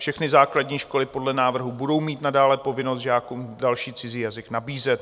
Všechny základní školy podle návrhů budou mít nadále povinnost žákům další cizí jazyk nabízet.